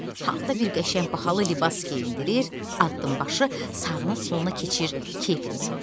Hamı da bir qəşəng bahalı libas geyindirir, addımbaşı sağına-soluna keçir, kefini soruşurlar.